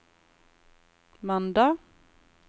mandag